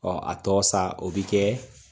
a tɔ sa o bi kɛ